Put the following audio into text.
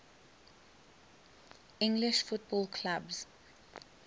english football clubs